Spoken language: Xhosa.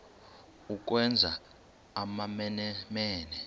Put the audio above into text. ukwenza amamene mene